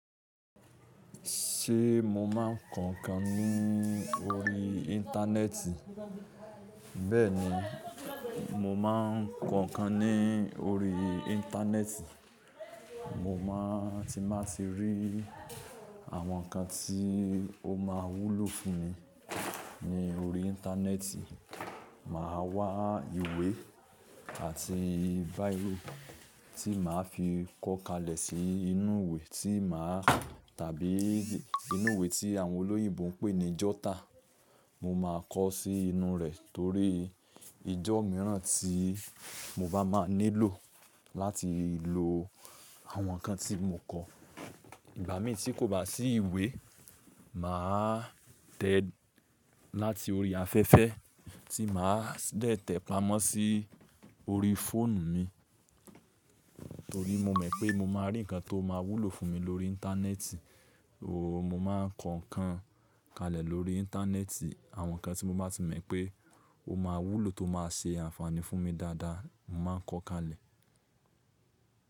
Ṣé mo máa ń kọ nǹkan ní orí íńtánẹ́ẹ̀tì? Bẹ́ẹ̀ni, mo máa ń kọ nǹkan ní orí íńtánẹ́ẹ̀tì. Mo máa ti n ba ti rí àwọn nǹkan tí ó máa wúlò fún mi ní orí íńtánẹ́ẹ̀tì. Màá wa ìwé àti biro tí màá fi kọ́ kalẹ̀ sí inú ìwé tí màá tàbí inú ìwé tí àwọn olóyìnbo ń pè ní jotter. Mo máa kọ sí inú rẹ̀ torí ijó mìíràn tí mo bá máa nílò láti lo àwọn nǹkan tí mo kọ. Ìgbà míi tí kò bá sí ìwé, màá tẹ láti orí afẹ́fẹ́ tí màá de tẹ pamọ́ sí orí fóònù mi. Torí mo mọ̀ pé mo máa rí nǹkan tó máa wúlò fún mi lórí íńtánẹ́ẹ̀tì. Ooo, mo máa ń kọ nǹkan kalẹ̀ lórí íńtánẹ́ẹ̀tì. Àwọn nǹkan tí mo bá ti mọ̀ pé ó máa wúlò tó máa ṣe ànfàní fún mi dáadáa, mo màá n kọ kalẹ̀.